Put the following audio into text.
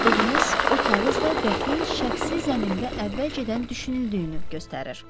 Üzük tapdığımız o kağız da qətlin şəxsi zəmində əvvəlcədən düşünüldüyünü göstərir.